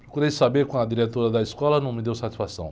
Procurei saber com a diretora da escola, não me deu satisfação.